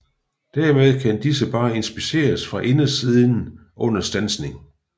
Dermed kan disse bare inspiceres fra indersiden under standsning